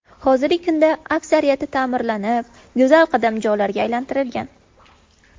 Hozirgi kunda aksariyati ta’mirlanib, go‘zal qadamjolarga aylantirilgan.